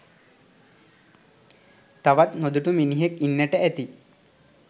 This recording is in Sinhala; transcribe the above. තවත් නොදුටු මිනිහෙක් ඉන්නට ඇති.